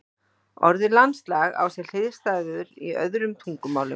Orðið landslag á sér hliðstæður í öðrum tungumálum.